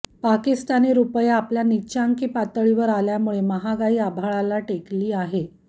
पाकिस्तानी रुपया आपल्या निच्चांकी पातळीवर आल्यामुळे महागाई आभाळाला टेकली आहे